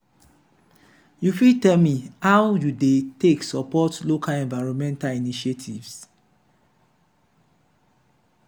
you fit tell me how you dey take support local enviornmental initiatives?